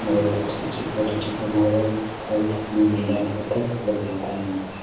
बहुत अच्छे-अच्छे क्वालिटी के मार्बल टाइल्स एंड ग्रेनाइट पत्थर उपलब्ध रहता यहाँ पे।